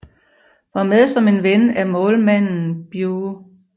Var med som en ven af målmanden Bew